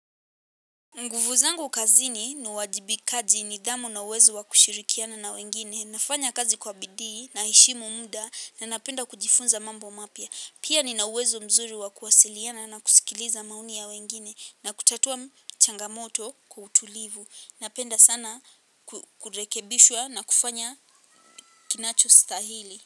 Nguvu zangu kazini ni uwajibikaji nidhamu na uwezo wa kushirikiana na wengine, nafanya kazi kwa bidii na heshimu muda na napenda kujifunza mambo mapya. Pia nina uwezo mzuri wa kuwasiliana na kusikiliza maoni ya wengine na kutatua changamoto kwa utulivu. Napenda sana kurekebishwa na kufanya kinachostahili.